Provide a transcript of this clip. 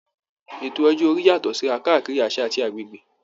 Ètò ọjọ́ orí yàtọ̀ síra káàkiri àṣà àti agbègbè